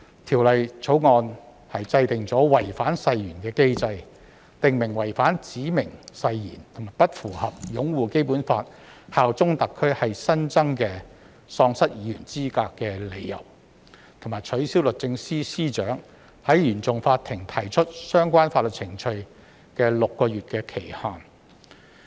《條例草案》制訂違反誓言的機制，訂明違反指明誓言及不符合擁護《基本法》、效忠特區是新增的喪失議員資格的理由，並取消律政司司長在原訟法庭提起相關法律程序的6個月期限。